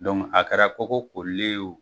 a kɛra koko kolilen ye o.